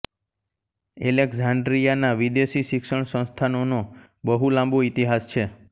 એલેક્ઝાન્ડ્રિયાના વિદેશી શિક્ષણ સંસ્થાનોનો બહુ લાંબો ઇતિહાસ છે